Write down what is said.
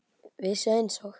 Vissu einsog